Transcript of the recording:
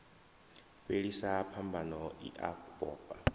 fhelisa phambano i a vhofha